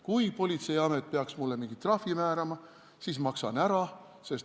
Kui politseiamet peaks mulle mingi trahvi määrama, siis ma maksan ära.